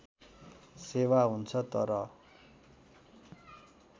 सेवा हुन्छ तर